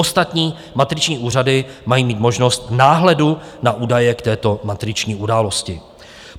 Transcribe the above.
Ostatní matriční úřady mají mít možnost náhledu na údaje k této matriční události.